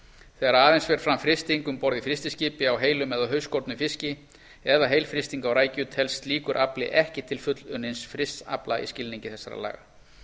þegar aðeins fer fram frysting um borð í frystiskipi á heilum eða hausskornum fiski eða heilfrysting á rækju telst slíkur afli ekki til fullunnins frysts afla í skilningi laga þessara